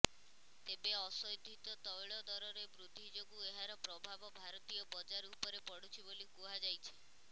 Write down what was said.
ତେବେ ଅଶୋଧିତ ତୈଳ ଦରରେ ବୃଦ୍ଧି ଯୋଗୁଁ ଏହାର ପ୍ରଭାବ ଭାରତୀୟ ବଜାର ଉପରେ ପଡୁଛି ବୋଲି କୁହାଯାଇଛି